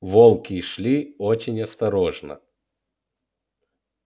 волки шли очень осторожно